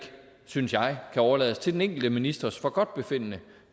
synes jeg overlades til den enkelte ministers forgodtbefindende